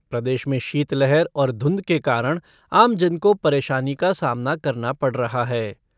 प्रदेश में शीत लहर और धुंध के कारण आम जन को परेशानी का सामना करना पड़ा रहा है।